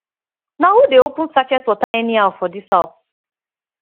na who dey open sachet water anyhow for dis house